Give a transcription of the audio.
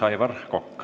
Aivar Kokk.